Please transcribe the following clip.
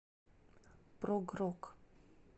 прог рок